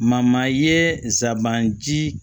ye nsaban ji